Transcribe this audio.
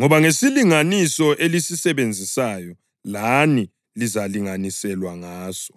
Ngoba ngesilinganiso elisisebenzisayo, lani lizalinganiselwa ngaso.”